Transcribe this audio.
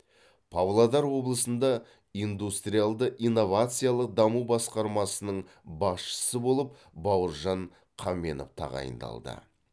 павлодар облысында индустриалды инновациялық даму басқармасының басшысы болып бауыржан қаменов тағайындалды